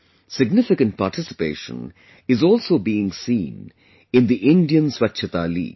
Significant participation is also being seen in the IndianSwachhata League